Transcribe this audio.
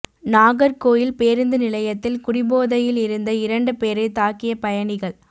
நாகர்கோயில் பேருந்து நிலையத்தில் குடிபோதையில் இருந்த இரண்டு பேரை தாக்கிய பயணிகள்